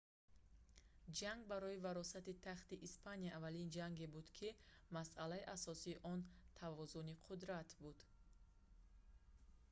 ҷанг барои варосати тахти испания аввалин ҷанге буд ки масъалаи асосии он тавозуни қудрат буд